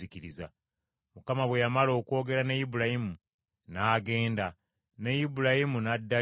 Mukama bwe yamala okwogera ne Ibulayimu n’agenda, ne Ibulayimu n’addayo ewuwe.